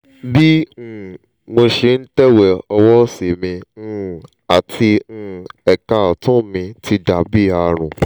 bí um mo ṣe ń tẹ̀wé ọwọ́ òsì mi um àti um ẹ̀ka ọ̀tún mi ti dà bí àrùn